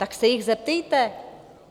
Tak se jich zeptejte.